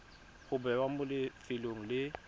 go bewa mo lefelong le